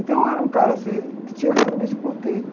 Então eu era um cara, assim, que tinha realmente bloqueio.